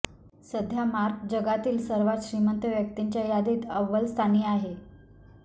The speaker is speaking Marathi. सध्या मार्क जगातील सर्वात श्रीमंत व्यक्तींच्या यादीत अव्वलस्थानी आहे